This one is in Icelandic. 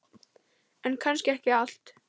En kannski ekki allt.